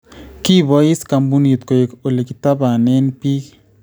kiboayiis koombunit koek ole kitabaanen biik